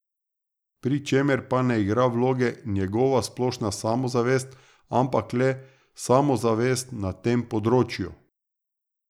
Pri čemer pa ne igra vloge njegova splošna samozavest, ampak le samozavest na tem področju.